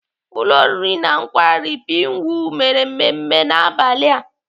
Ụlọ oriri na nkwari Pinewood mere mmemme n'abalị a.